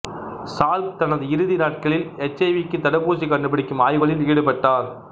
Salk தனது இறுதி நாட்களில் எச் ஐ விக்குத் தடுப்பூசி கண்டுபிடிக்கும் ஆய்வுகளில் ஈடுபட்டார்